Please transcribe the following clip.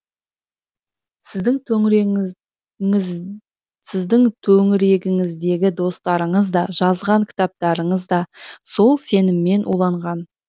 сіздің төңірегіңіздегі достарыңыз да жазған кітаптарыңыз да сол сеніммен уланған